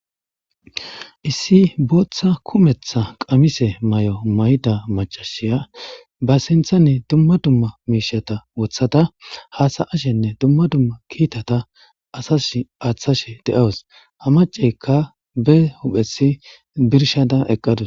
Issi booththa kumetha qamise may'o may'i macashiya ba sinthanne dumma dumma miishata wothata haasa ashenne dumma dumma kiitata asash aaththashe de'awus ha maceykka be huphesi birshada eqqadus.